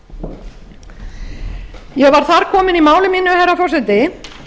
takk ég var það komin í máli mínu herra forseti